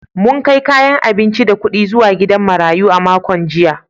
Mun kai kayan abinci da kudi zuwa gidan marayu a makon jiya.